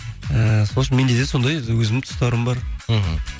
ііі сол үшін менде де сондай өзімнің тұстарым бар мхм